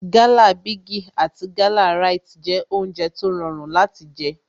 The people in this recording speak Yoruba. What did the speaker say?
Gala bigi àti Gala Rite jẹ́ oúnjẹ tó rọrùn láti jé